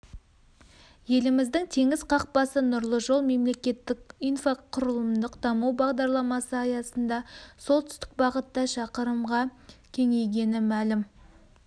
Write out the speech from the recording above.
еліміздің теңіз қақпасы нұрлы жол мемлекеттік инфрақұрылымдық даму бағдарламасы аясында солтүстік бағытта шақырымға кеңейгені мәлім